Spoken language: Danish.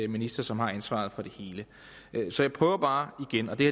minister som har ansvaret for det hele så jeg prøver bare igen og det